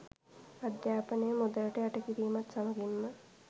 අධ්‍යාපනය මුදලට යට කිරීමත් සමගින්ම